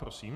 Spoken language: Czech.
Prosím.